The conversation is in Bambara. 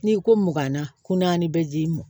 N'i ko makanna kun naani bɛ ji m